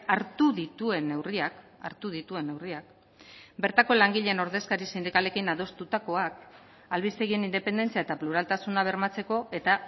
hartu dituen neurriak hartu dituen neurriak bertako langileen ordezkari sindikalekin adostutakoak albistegien independentzia eta pluraltasuna bermatzeko eta